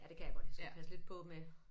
Ja det kan jeg godt jeg skal passe lidt på med